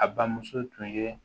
A bamuso tun ye